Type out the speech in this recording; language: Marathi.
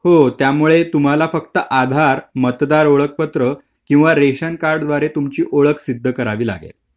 हो त्यामुळे तुम्हाला फक्त आधार मतदार ओळखपत्र किंवा रेशन कार्ड द्वारे तुमची ओळख सिद्ध करावी लागेल.